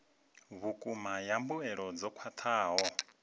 vhukuma ya mbuelo dzo khwathaho